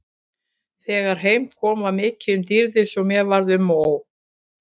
Þegar heim kom var mikið um dýrðir svo mér varð um og ó.